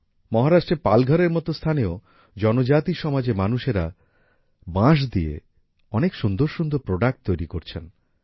মহারাষ্ট্রের পালঘরের মতো স্থানেও জনজাতি সমাজের মানুষেরা বাঁশ দিয়ে অনেক সুন্দর সুন্দর প্রোডাক্ট তৈরি করছেন